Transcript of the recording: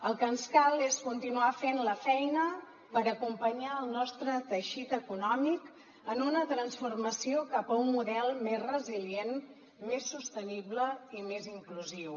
el que ens cal és continuar fent la feina per acompanyar el nostre teixit econòmic en una transformació cap a un model més resilient més sostenible i més inclusiu